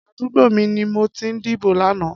Adúgbó mi ni mó ti dibó làná